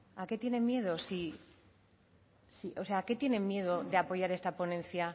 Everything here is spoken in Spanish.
a qué tienen miedo no a qué tienen miedo de apoyar esta ponencia